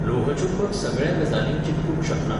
लोहचुंबक सगळ्या गजालींक चिकटूंक शकना.